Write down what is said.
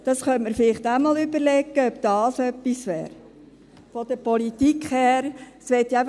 Man könnte vielleicht auch einmal überlegen, ob das von der Politik her etwas wäre;